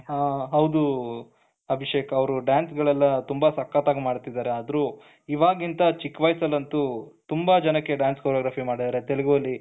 ಹ ಹೌದು ಅಭಿಷೇಕ್ ಅವರು dance ಗಳೆಲ್ಲ ತುಂಬಾ ಸಕ್ಕತ್ತಾಗಿ ಮಾಡ್ತಾ ಇದ್ದಾ ಆದ್ರೂ ಇವಾಗಿಂತ ಚಿಕ್ಕ ವಯಸ್ಸಿನಲ್ಲಂತ ತುಂಬಾ ಜನಕ್ಕೆ dance choreography ಮಾಡಿದ್ದಾರೆ ತೆಲುಗು ಅಲ್ಲಿ